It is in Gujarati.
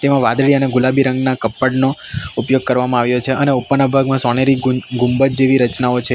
આમાં વાદળી અને ગુલાબી રંગના કપ્પડનો ઉપયોગ કરવામાં આવ્યો છે અને ઉપરના ભાગમાં સોનેરી ગુંજ ગુંબજ જેવી રચનાઓ છે.